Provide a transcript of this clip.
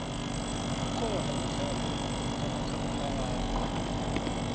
kukhona umdlalo kamakhakhulwa ararhwe